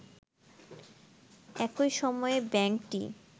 একই সময়ে ব্যাংকটি